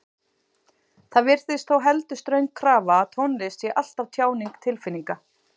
Það virðist þó heldur ströng krafa að tónlist sé alltaf tjáning tilfinninga.